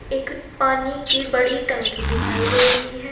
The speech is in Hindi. एक पानी की बड़ी टंकी दिखाई दे रही है।